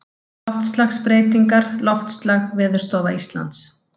Loftslagsbreytingar Loftslag Veðurstofa Íslands.